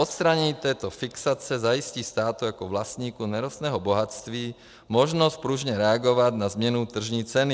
Odstranění této fixace zajistí státu jako vlastníku nerostného bohatství možnost pružně reagovat na změnu tržní ceny.